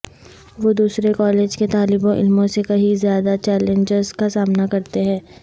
وہ دوسرے کالج کے طالب علموں سے کہیں زیادہ چیلنجز کا سامنا کرتے ہیں